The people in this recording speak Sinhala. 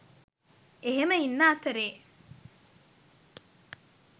එහෙම ඉන්න අතරේ